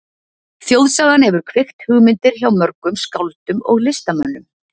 Þjóðsagan hefur kveikt hugmyndir hjá mörgum skáldum og listamönnum.